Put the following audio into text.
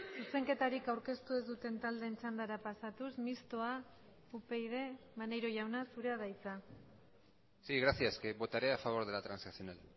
zuzenketarik aurkeztu ez duten taldeen txandara pasatuz mistoa upyd maneiro jauna zurea da hitza sí gracias que votaré a favor de la transaccional